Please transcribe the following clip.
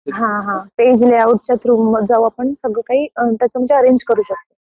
हां हां . Page layout च्या मधून जाऊन आपण सर्व काही अरेंज करू शकतो.